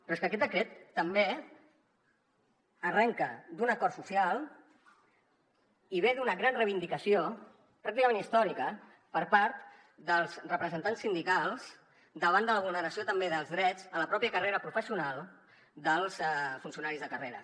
però és que aquest decret també arrenca d’un acord social i ve d’una gran reivindicació pràcticament històrica per part dels representants sindicals davant de la vulneració també dels drets a la pròpia carrera professional dels funcionaris de carrera